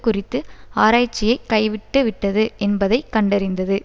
குறித்து ஆராய்ச்சியை கைவிட்டுவிட்டது என்பதை கண்டறிந்தது